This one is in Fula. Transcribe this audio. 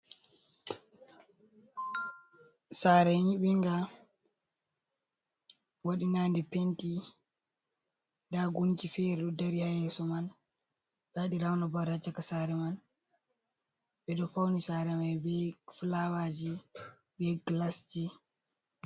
Sare nyibinga waɗi nande penti nda gungi fere ɗo dari ha yeso man, ɓe waɗi raun abat ha caka sare man, ɓeɗo fauni sare mai be fulawaji be gilasji.